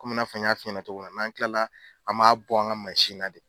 Komi n y'a f'i ɲɛna cogomin na, n an tila an b'a bɔ an ka masina de